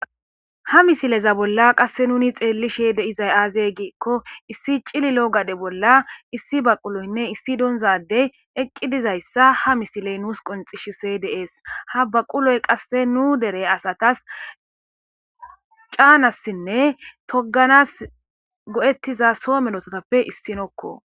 Ha missile bola qase nuni xelishe de'zay aze giko issi c'lilo gade bola issi baquloynne issi donza adey eqidi dizaysa ha missile nus qonc'isishe de'es ha baquloy qaseka nu dere asatas c'anasinne toganas go'etiza so medostappe issinoko.